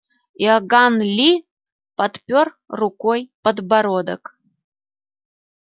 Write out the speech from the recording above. иоганн ли подпёр рукой подбородок